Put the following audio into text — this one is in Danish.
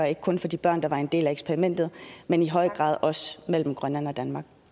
ikke kun for de børn der var en del af eksperimentet men i høj grad også i mellem grønland og danmark